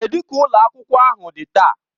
Kedụ ka ụlọ akwụkwọ ahụ dị taa?